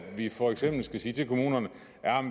vi for eksempel skal sige til kommunerne